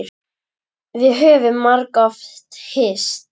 Við höfum margoft hist.